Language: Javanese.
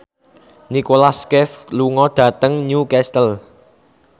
Nicholas Cafe lunga dhateng Newcastle